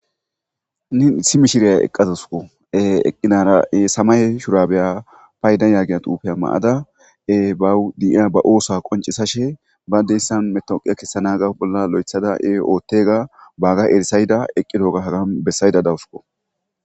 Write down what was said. Henin issi mishshriya eqqa uththadusikko semayawe shurabiya fayida gizza xufiya mayada bawu de'ya xufe qonc'isashe badesan metaweqiya kessanawu bolla loyitada otiyaga bagga issayida besayda de'awusikko.